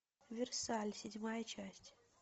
версаль седьмая часть